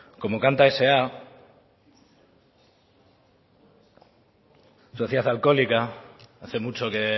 como canta sa soziedad alkoholika hace mucho que